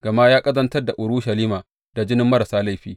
Gama ya ƙazantar da Urushalima da jinin marasa laifi.